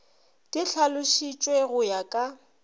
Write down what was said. di hlalošišwa go ya ka